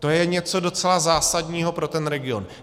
To je něco docela zásadního pro ten region.